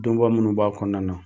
Donba munnu b'a kɔnɔna na